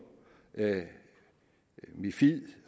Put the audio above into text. mifid